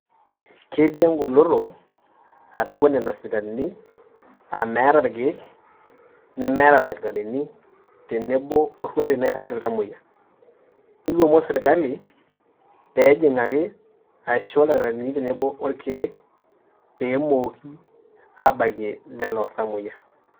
Ketii engoloto atua nena sipitalini [aa] meeta ilkeek nemeeta ildakitarini tenebo oruati nairrag iltamoya. Nikomon sirkali peejing'aki aisho ildakitarini tenebo olkeek peemooki abakie lelo tamoyia.